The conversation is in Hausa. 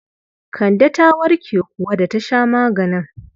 Kande ta warke kuwa da ta sha maganin?